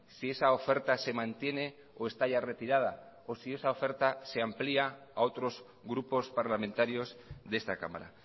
si esa oferta se mantiene o está ya retirada o si esa oferta se amplía a otros grupos parlamentarios de esta cámara